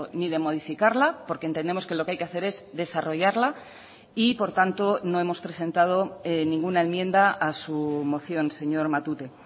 ni de modificarla porque entendemos que lo que hay que hacer es desarrollarla y por tanto no hemos presentado ninguna enmienda a su moción señor matute